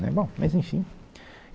Né, bom, mas enfim.